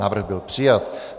Návrh byl přijat.